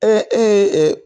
E e ye ɛ